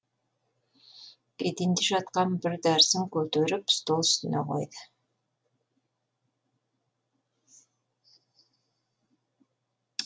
еденде жатқан бір дәрісін көтеріп стол үстіне қойды